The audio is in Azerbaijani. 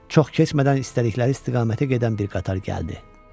Çox keçmədən istədikləri istiqamətə gedən bir qatar gəldi.